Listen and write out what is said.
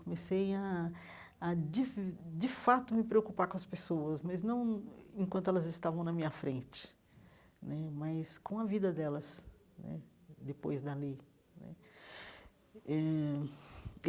Comecei a a, de de fato, me preocupar com as pessoas, mas não enquanto elas estavam na minha frente né, mas com a vida delas né depois dali né eh.